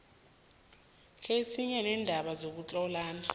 kezinye zeendaba zokutlhalana